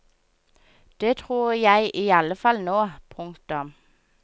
Det tror jeg i alle fall nå. punktum